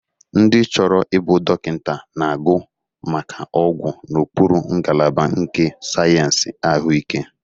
Ndị chọrọ ịbụ dọkịta na-agụ maka ọgwụ n'okpuru ngalaba nke Sayensị Ahụike.